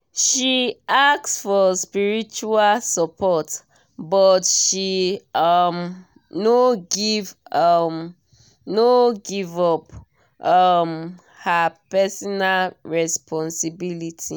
she ask for spiritual support but she um no give um no give up um her personal responsibility.